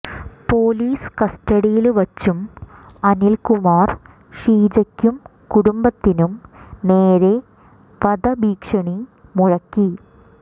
police കസ്റ്റഡിയില് വച്ചും അനിൽകുമാർ ഷീജയ്ക്കും കുടുംബത്തിനും നേരെ വധഭീഷണി മുഴക്കി